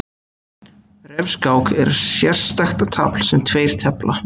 Refskák er sérstakt tafl sem tveir tefla.